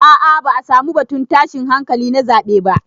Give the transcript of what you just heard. A'a ba'a samu batun tashin hankali na zaɓe ba.